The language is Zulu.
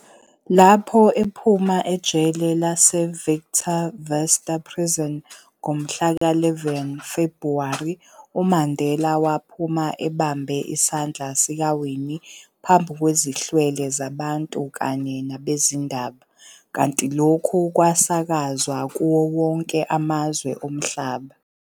Lapho ephuma ejele lase-Victor Verster Prison ngomhla ka 11 Februwari, uMandela waphuma ebambe isandla sikaWinnie phambi kwezihlwele zabantu kanye nabezindaba, kanti lokhu kwasakazwa kuwo wonke amazwe omhlaba.